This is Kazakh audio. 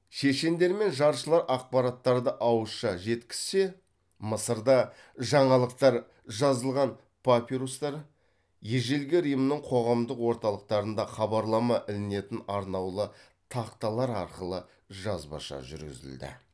шешендер мен жаршылар ақпараттарды ауызша жеткізсе мысырда жаңалықтар жазылған папирустар ежелгі римнің қоғамдық орталықтарында хабарлама ілінетін арнаулы тақталар арқылы жазбаша жүргізілді